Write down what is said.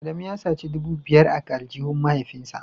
Adamu ya saci dubu biyar a aljihun mahaifinsa